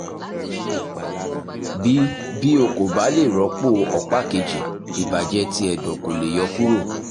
bi bi o ko ba le rọpo ọpa keji ibajẹ ti ẹdọ ko le yọ kuro